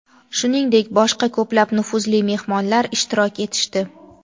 shuningdek boshqa ko‘plab nufuzli mehmonlar ishtirok etishdi.